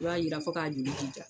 I b'a yira fo k'a